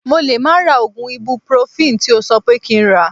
Mo lè má ra oògùn ibupurofini tí o sọ pé kí n rà